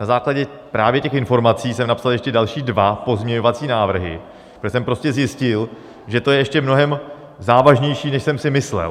Na základě právě těch informací jsem napsal ještě další dva pozměňovací návrhy, protože jsem prostě zjistil, že to je ještě mnohem závažnější, než jsem si myslel.